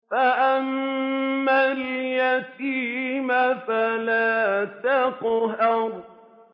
فَأَمَّا الْيَتِيمَ فَلَا تَقْهَرْ